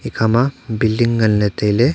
ekha ma biling ngan ley ley tai ley.